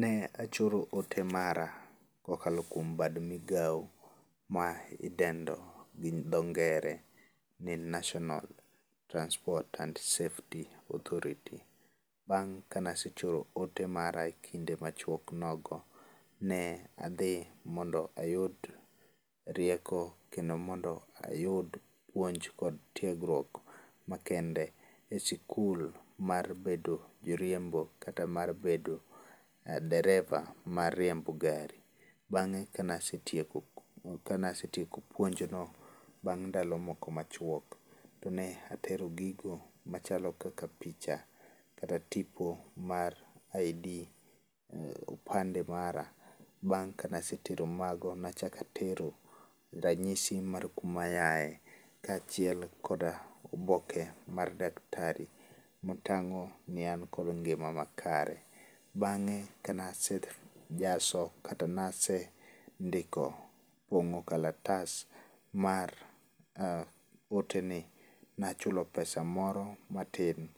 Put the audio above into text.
Ne achoro ote mara kokalo kuom bad migawo ma idendo gi dho ngere ni National Transport and Safety Authority. Bang' ka nasechoro ote mara e kinde machuok nogo, ne adhi mondo ayud rieko kendo mondo ayud puonj kod tiegruok makende e sikul mar bedo jariembo, kata mar bedo dereva mar riembo gari. Bang'e kanasetieko puonjno bang' ndalo moko machuok, to ne atero gigo machalo kaka picha kata tipo mar ID, opande mara. Bang' kanasetero mago, nachakatero ranyisi mar kuma yae, kaachiel kod oboke mar daktari ma tang'o ni an kod ngima makare. Bang'e kanasejaso kata nasendiko, pong'o kalatas mar ote ni, nachulo pesa moro matin